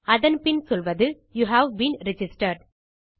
அதன் பின் சொல்வது யூ ஹேவ் பீன் ரிஜிஸ்டர்ட்